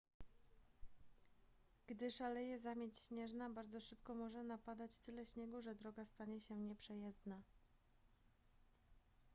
gdy szaleje zamieć śnieżna bardzo szybko może napadać tyle śniegu że droga stanie się nieprzejezdna